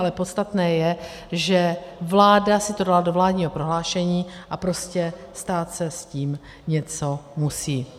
Ale podstatné je, že vláda si to dala do vládního prohlášení a prostě stát se s tím něco musí.